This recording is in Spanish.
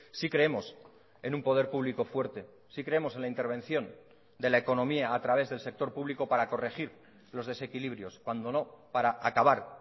sí creemos en un poder públicofuerte sí creemos en la intervención de la economía a través del sector público para corregir los desequilibrios cuando no para acabar